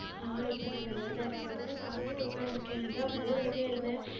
ஆஹ் இப்ப நான் நல்லாதான் இருக்கேன். இப்பதான் சாப்பிட்டுட்டு உட்கார்ந்து இருக்கேன். அதான் bore ஆயிட்டே இருந்தேன்